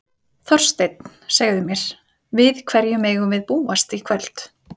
Þorsteinn, segðu mér, við hverju megum við búast í kvöld?